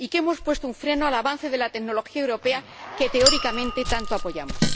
y que hemos puesto un freno al avance de la tecnología europea que teóricamente tanto apoyamos.